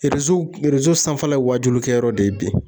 sanfɛla ye waajulu kɛ yɔrɔ de ye bi.